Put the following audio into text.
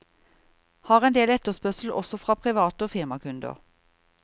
Har en del etterspørsel også fra private og firmakunder.